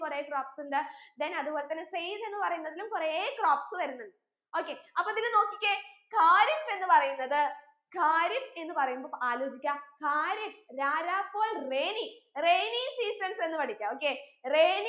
കൊറേ crops ഉണ്ട് then അത് പോലെ തന്നെ സയ്ദ് എന്ന് പറയുന്നതിലും കൊറേ crops വരുന്നുണ്ട് okay അപ്പൊ ഇതിൽ നോക്കിക്കേ ഖാരിഫ് എന്ന് പറയുന്നത് ഖാരിഫ് എന്ന് പറയുമ്പോ ആലോചിക്ക ഖാരിഫ് രാരാകോൾ rainyrainy seasons എന്ന് പടിക്ക okay rainy